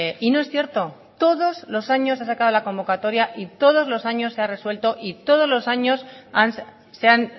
y no es cierto todos los años se ha sacado la convocatoria y todos los años se ha resuelto y todos los años se han